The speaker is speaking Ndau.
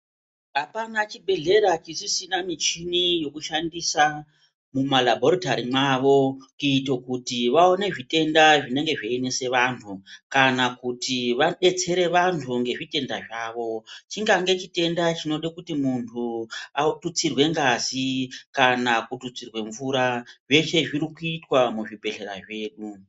Hapana chibhedhlera chisisina muchini yekushandisa muma labhoritari mwavo kuita vaone zvitenda zvinenge zveinesa vantu , kana kuti vadetsere vantu nezvitenda zvawo. Chingange chitenga chinoda kuti muntu atutsirwe ngazi kana kuti kututsirwa mvura. Zveshe zviri kuitwa muzvibhedhlera zvedu.